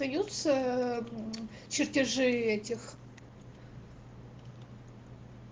даются м чертежи этих